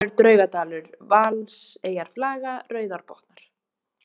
Særingsdalur, Draugadalur, Valseyjarflaga, Rauðárbotnar